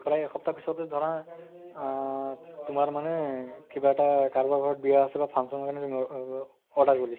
প্ৰায় এসপ্তাহ পিছতে ধৰা আহ তোমাৰ মানে কিবা এটা কাৰোবাৰ ঘৰত বিয়া আছে বা function ৰ কাৰণে তুমি কাৰণে তুমি অ ব order কৰিছা